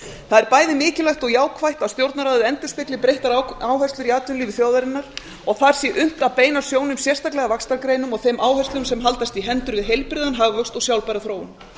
er bæði mikilvægt og jákvætt að stjórnarráðið endurspegli breyttar áherslur í atvinnulífi þjóðarinnar og aðra sé unnt að beina sjónum sérstaklega vaxtargreinum og þeim áherslum sem haldast í hendur við heilbrigðan hagvöxt og sjálfbæra þróun